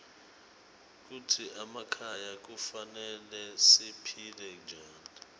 kitsi emakhaya kufanele siphile njani